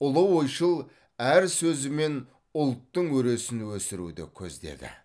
ұлы ойшыл әр сөзімен ұлттың өресін өсіруді көздеді